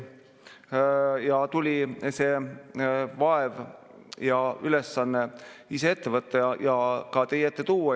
Ja tuli see vaev ja ülesanne ise ette võtta ja ka teie ette tuua.